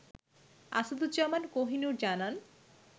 আসাদুজ্জামান কোহিনুর জানান